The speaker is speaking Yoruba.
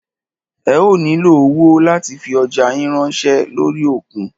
Ẹ ó nílo owó láti fi ọjá yín ránṣẹ́ lórí òkun.